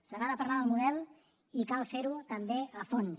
se n’ha de parlar del model i cal fer ho també a fons